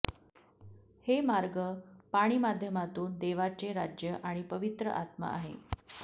हे मार्ग पाणी माध्यमातून देवाचे राज्य आणि पवित्र आत्मा आहे